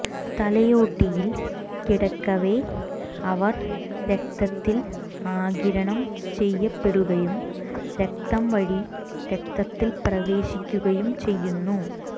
തലയോട്ടിയിൽ കിടക്കവേ അവർ രക്തത്തിൽ ആഗിരണം ചെയ്യപ്പെടുകയും രക്തം വഴി രക്തത്തിൽ പ്രവേശിക്കുകയും ചെയ്യുന്നു